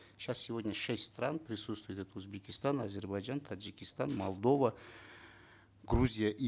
сейчас сегодня шесть стран присутствует это узбекистан азербайджан таджикистан молдова грузия и